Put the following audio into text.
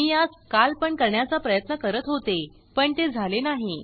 मी यास काल पण करण्याचा प्रयत्न करत होते पण ते झाले नाही